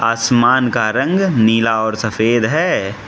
आसमान का रंग नीला और सफेद है।